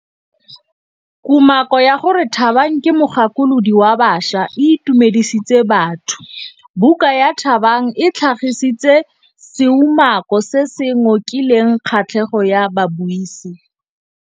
Kumakô ya gore Thabang ke mogakolodi wa baša e itumedisitse batho. Buka ya Thabang e tlhagitse seumakô se se ngokileng kgatlhegô ya babuisi.